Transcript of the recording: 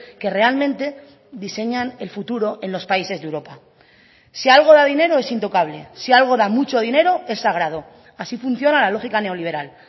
que realmente diseñan el futuro en los países de europa si algo da dinero es intocable si algo da mucho dinero es sagrado así funciona la lógica neoliberal